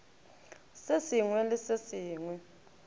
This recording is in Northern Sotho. se sengwe le se sengwe